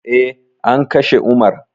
Eh, an kashe umar